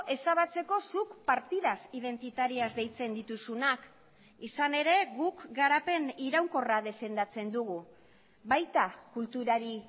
ezabatzeko zuk partidas identitarias deitzen dituzunak izan ere guk garapen iraunkorra defendatzen dugu baita kulturari